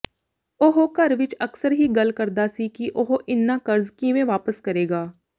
ਉਹ ਘਰ ਵਿੱਚ ਅਕਸਰ ਹੀ ਗੱਲ ਕਰਦਾ ਸੀ ਕਿ ਉਹ ਇੰਨਾ ਕਰਜ਼ ਕਿਵੇਂ ਵਾਪਸ ਕਰੇਗਾ